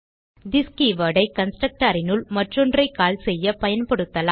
this keyword ஐ constructor னுள் மற்றொன்றை கால் செய்ய பயன்படுத்தலாம்